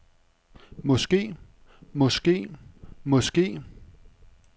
måske måske måske